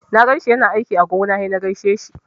Na ganshi yana aiki a gona sai na gaishe shi.